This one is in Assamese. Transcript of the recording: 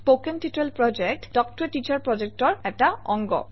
কথন শিক্ষণ প্ৰকল্প তাল্ক ত a টিচাৰ প্ৰকল্পৰ এটা অংগ